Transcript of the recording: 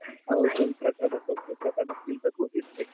ಅವ್ರ್ ತಂದು ಪ್ರಸಾದ ಕೊಟ್ರು ಪ್ರಸಾದ ತಿಂತಾ ಕೂತಿದ್ದೆ ಈಗ